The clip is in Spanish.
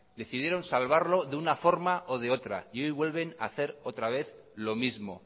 decidieron salvarlo de una forma o de otra y hoy vuelven a hacer otra vez lo mismo